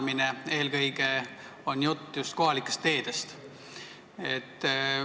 Ma pean eelkõige silmas just kohalikke teid?